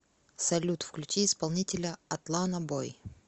салют включи исполнителя атлана бой